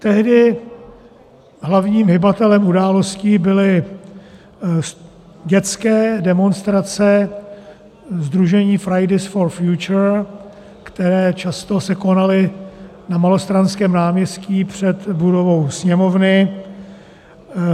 Tehdy hlavním hybatelem událostí byly dětské demonstrace sdružení Fridays for Future, které se často konaly na Malostranském náměstí před budovou Sněmovny.